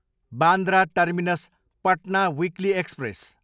Bandra terminus, Patna weekly express